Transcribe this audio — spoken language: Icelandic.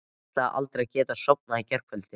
Kristinn: Veist þú hvað gerðist, hvað olli þessu?